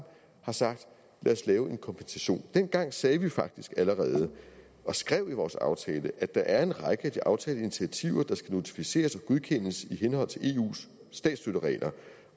har sagt lad os lave en kompensation dengang sagde vi faktisk og skrev i vores aftale at der er en række af de aftalte initiativer der skal notificeres og godkendes i henhold til eus statsstøtteregler